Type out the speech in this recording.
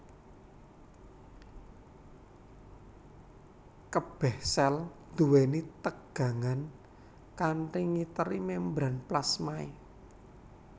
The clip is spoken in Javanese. Kebeh sel duweni tegangan kang ngiteri membran plasmae